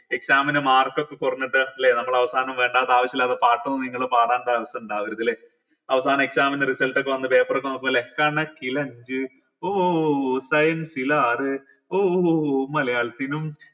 exam ന് mark ഒക്കെ കുറഞ്ഞിട്ട് ല്ലെ നമ്മൾ അവസാനം വേണ്ടാത്ത ആവശ്യമില്ലാത്ത പാട്ടും നിങ്ങള് പാടാം chance ഇണ്ടവരുതല്ലേ അവസാനം exam ന്റെ result ഒക്കെ വന്ന് paper ഒക്കെ നോക്കുമ്പോ ല്ലെ കണക്കിൽ അഞ്ചു ഓ science ലാറ് ഓ മലയാളത്തിനു